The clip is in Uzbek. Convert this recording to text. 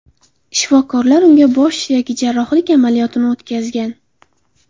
Shifokorlar unda bosh suyagi jarrohlik amaliyot ini o‘tkazgan.